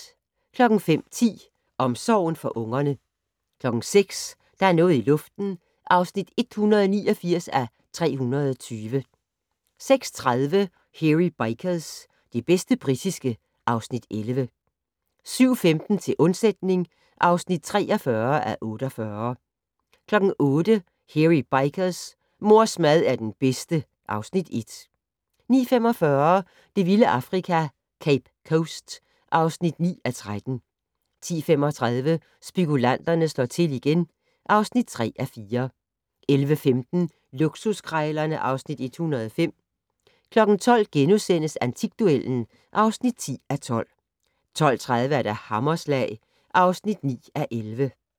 05:10: Omsorgen for ungerne 06:00: Der er noget i luften (189:320) 06:30: Hairy Bikers - det bedste britiske (Afs. 11) 07:15: Til undsætning (43:48) 08:00: Hairy Bikers : Mors mad er den bedste (Afs. 1) 09:45: Det vilde Afrika - Cape Coast (9:13) 10:35: Spekulanterne slår til igen (3:4) 11:15: Luksuskrejlerne (Afs. 105) 12:00: Antikduellen (10:12)* 12:30: Hammerslag (9:11)